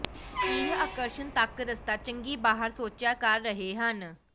ਇਹ ਆਕਰਸ਼ਣ ਤੱਕ ਰਸਤਾ ਚੰਗੀ ਬਾਹਰ ਸੋਚਿਆ ਕਰ ਰਹੇ ਹਨ